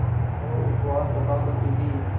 और उपवास रखा करती थीं